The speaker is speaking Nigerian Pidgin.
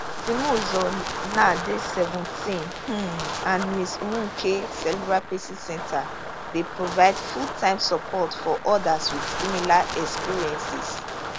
zimuzo now dey seventeen um and ms nweke cerebral palsy centre dey provide fulltime support for odas wit similar experiences